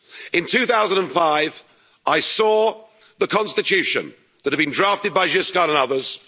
In 2005, I saw the Constitution that had been drafted by Giscard and others.